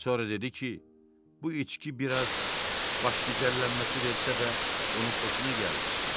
Sonra dedi ki, bu içki biraz başgəcəllənməsi versə də onun xoşuna gəldi.